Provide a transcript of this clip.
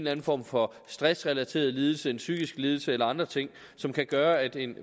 anden form for stressrelateret lidelse en psykisk lidelse eller andre ting som kan gøre at en